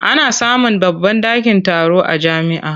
Ana samun babban ɗakin taro a jami'a.